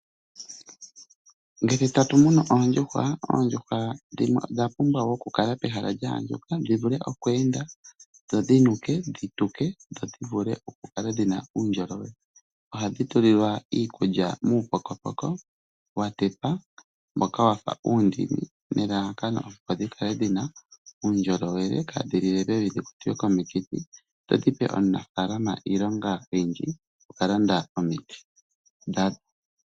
Ngele ta tu munu oondjuhwa, oondjuhwa odha pumbwa oku kala dhili pehala lya andjuka, dhi vule okweenda, dhinuke, dhituke. Oha dhi tulilwa iikulya muupokopoko, wa tetwa mbokawa fa uundini, nelalakano opo dhikale dhina uundjolowele, kaaha dhinlike pevi dho dhi kwatwe komiki, dho dhipe omunafaalama iilonga oyindji yo ku landa omiti.